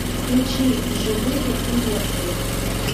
включи живые и мертвые